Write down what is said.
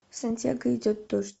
в сантьяго идет дождь